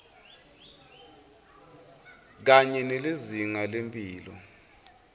kanye nelizinga lemphilo